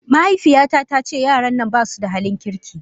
Mahaifiyata ta ce yaran nan ba su da halin kirki.